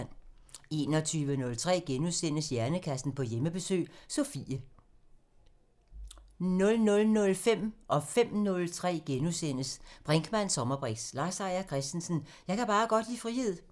21:03: Hjernekassen på Hjemmebesøg – Sofie * 00:05: Brinkmanns sommerbriks: Lars Seier Christensen – Jeg kan bare godt lide frihed * 05:03: Brinkmanns sommerbriks: Lars Seier Christensen – Jeg kan bare godt lide frihed *